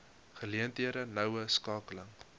geleenthede noue skakeling